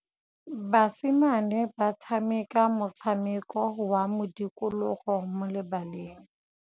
Basimane ba tshameka motshameko wa modikologô mo lebaleng.